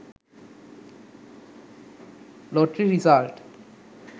lottery result